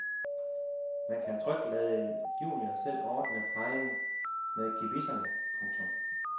Man kan trygt lade junior selv ordne plejen med gebisserne. punktum